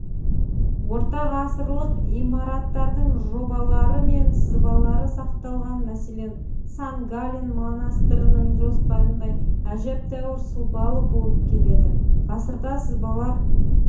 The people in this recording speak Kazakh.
ортағасырлық имараттардың жобалары мен сызбалары сақталған мәселен сан-гален монастырының жоспарындай әжептеуір сұлбалы болып келеді ғасырда сызбалар